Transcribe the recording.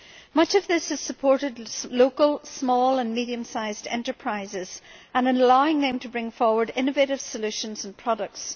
Much of this has supported local small and medium sized enterprises, allowing them to bring forward innovative solutions and products.